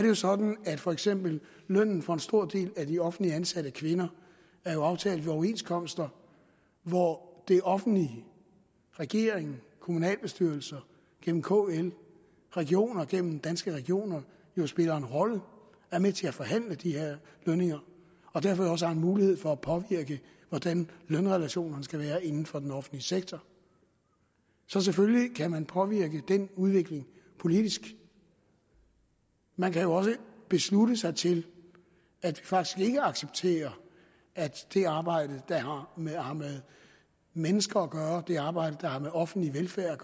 jo sådan at for eksempel lønnen for en stor del af de offentligt ansatte kvinder er aftalt i overenskomster hvor det offentlige regeringen kommunalbestyrelser gennem kl regioner gennem danske regioner spiller en rolle og er med til at forhandle de her lønninger og derfor også har en mulighed for at påvirke hvordan lønrelationerne skal være inden for den offentlige sektor så selvfølgelig kan man påvirke den udvikling politisk man kan jo også beslutte sig til at vi faktisk ikke accepterer at det arbejde der har med mennesker at gøre det arbejde der har med offentlig velfærd